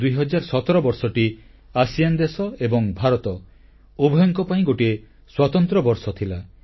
2017 ବର୍ଷଟି ଆସିଆନ ଦେଶ ଏବଂ ଭାରତ ଉଭୟଙ୍କ ପାଇଁ ଗୋଟିଏ ସ୍ୱତନ୍ତ୍ର ବର୍ଷ ଥିଲା